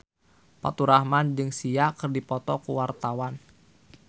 Faturrahman jeung Sia keur dipoto ku wartawan